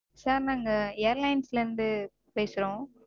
Sir நாங்க airlines -ல இருந்து பேசறோம்